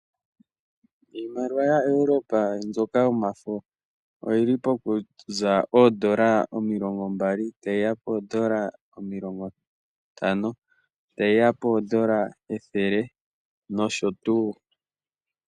Iimaliwa yaEuropa mbyoka yomafo oyili pokuza $20, tayiya $50, tayiya $100 nosho tuu.